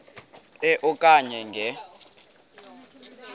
e okanye nge